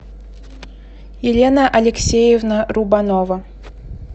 елена алексеевна рубанова